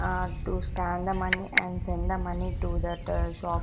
Ah to scan the money and send the money to that shop --